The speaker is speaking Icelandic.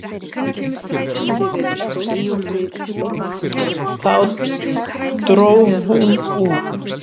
Þá dró hún úr.